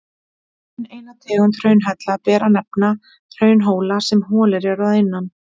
Enn eina tegund hraunhella ber að nefna, hraunhóla sem holir eru innan.